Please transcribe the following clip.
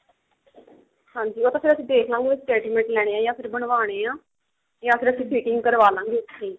ਹਾਂਜੀ ਉਹ ਤਾਂ ਫ਼ੇਰ ਅਸੀਂ ਦਖ਼ ਲਵਾਂਗੇ ready mate ਲੈਣੇ ਆ ਜਾਂ ਫਿਰ ਬ੍ਨਵਾਉਣੇ ਆ ਨਹੀਂ ਫ਼ੇਰ ਅਸੀਂ fitting ਕਰਵਾ ਲਾ ਗੇ ਉੱਥੀ